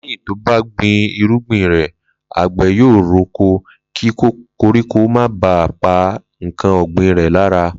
Lé̩yìn tó bá gbin irúgbìn rè̩, àgbè̩ yóò roko, kí koríko má bà á pa nǹkan ò̩gbìn rè̩ lára